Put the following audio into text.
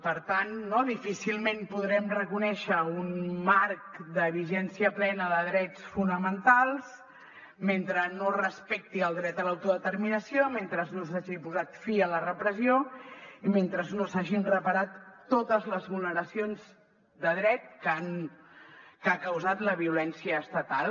per tant no difícilment podrem reconèixer un marc de vigència plena de drets fonamentals mentre no es respecti el dret a l’autodeterminació mentre no s’hagi posat fi a la repressió i mentre no s’hagin reparat totes les vulneracions de dret que ha causat la violència estatal